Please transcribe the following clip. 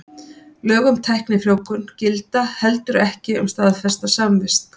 Lög um tæknifrjóvgun gilda heldur ekki um staðfesta samvist.